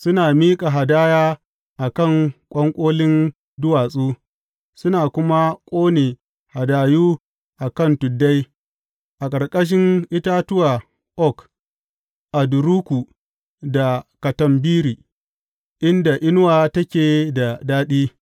Suna miƙa hadaya a kan ƙwanƙolin duwatsu suna kuma ƙone hadayu a kan tuddai, a ƙarƙashin itatuwa oak, aduruku da katambiri, inda inuwa take da daɗi.